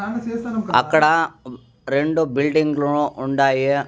అక్కడా రెండు బిల్డింగ్ లు ఉండాయి.